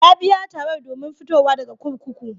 Ya biya tarar domin fitowa daga kurkuku.